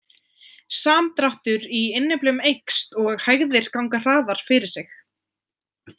Samdráttur í innyflum eykst og hægðir ganga hraðar fyrir sig.